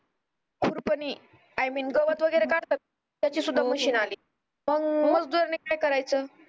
कुरपणीआय मीन गवत वगरे काढतात त्याची सुद्धा मशीन आली मग मजदूर नि काय कराच